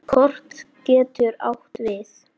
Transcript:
Kort getur átt við